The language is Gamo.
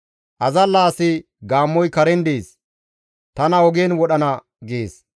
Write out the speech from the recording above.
Azalla asi, «Gaammoy karen dees; tana ogen wodhana» gees.